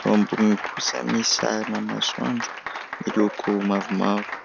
Eo amboniny kosa misy sarina masoandro miloko mavomavo.